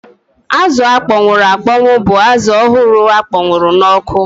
Azụ akpọnwụ akpọnwụ bụ azụ ọhụrụ akpọnwụọ n'ọkụ